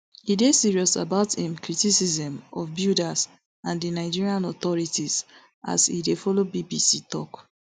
e dey serious about im criticism of builders and di nigerian authorities as e dey follow bbc tok